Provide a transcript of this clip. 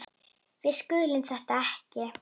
Við skiljum þetta ekki.